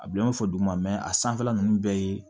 A bila n fɔ duguma a sanfɛla ninnu bɛɛ ye